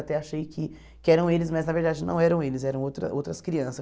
Até achei que que eram eles, mas na verdade não eram eles, eram outra outras crianças.